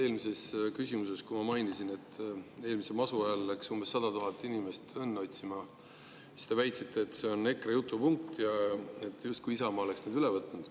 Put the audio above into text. Eelmises küsimuses, kui ma mainisin, et eelmise masu ajal läks umbes 100 000 inimest õnne otsima, siis te väitsite, et see on EKRE jutupunkt ja justkui Isamaa oleks selle üle võtnud.